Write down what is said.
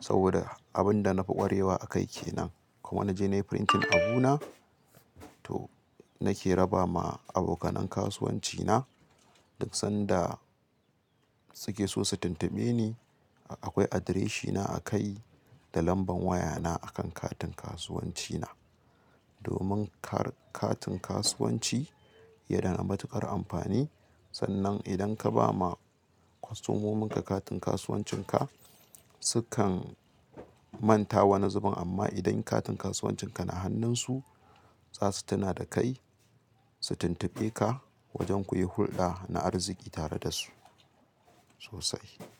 saboda abin da na fi ƙwarewa a kai ke nan. Kuma na je na yi printing abu na to nake raba ma aboka nan kasuwanci na duk sanda suke so su tuntuɓe ni. Akwai adireshina a kai da lamban wayana akan katin kasuwancina. Domin kar katin kasuwanci ya dana matuƙar amfani sannan idan ka ba ma kostomominka katin kasuwancinka sukan manta wani zubin, ama idan katin kasuwancin ka na hannun su zasu tuna da kai su tuntuɓe ka wajen ku yi hulɗa na arziki tare da su sosai.